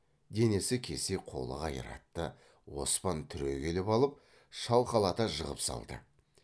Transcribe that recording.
денесі кесек қолы қайратты оспан түрегеліп алып шалқалата жығып салды